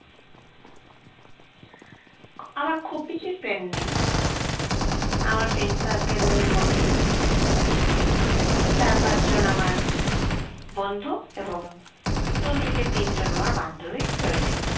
আমার খুব বেশি friend নেই আমার friend circle র মধ্যে চার পাঁচ জন আমার বন্ধু এবং দু থেকে তিনজন আবার বান্ধবী রয়েছে